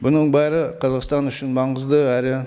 бұның бәрі қазақстан үшін маңызды әрі